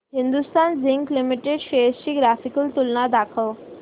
Hindustan zinc limited shares ची graphical तुलना दाखव